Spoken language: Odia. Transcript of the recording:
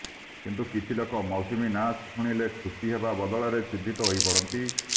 କିନ୍ତୁ କିଛି ଲୋକ ମୌସୁମୀ ନାଁ ଶୁଣିଲେ ଖୁସି ହେବା ବଦଳରେ ଚିନ୍ତିତ ହୋଇପଡନ୍ତି